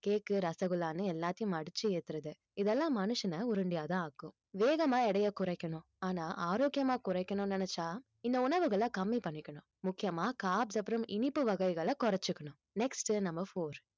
cake ரசகுல்லான்னு எல்லாத்தையும் அடிச்சு ஏத்துறது இதெல்லாம் மனுஷனை உருண்டையாதான் ஆக்கும் வேகமா எடையை குறைக்கனும் ஆனா ஆரோக்கியமா குறைக்கணும்னு நினைச்சா இந்த உணவுகளை கம்மி பண்ணிக்கணும் முக்கியமா carbs அப்புறம் இனிப்பு வகைகளை குறைச்சுக்கணும் next உ number four